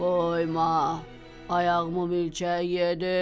Qoyma, ayağımı milçək yedi.